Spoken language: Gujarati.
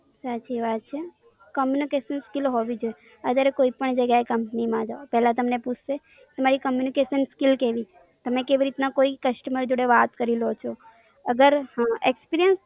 સાચી વાત છે. communication skill હોવી જોઈએ. અગર કોઈ પણ જગ્યા એ કંપની માં જાઓ પેલા તમને પૂછસે તમારી communication skill કેવી છે? તમે કેવી રીતે કોઈ customer જોડે વાત કરી લો છો. અગર experience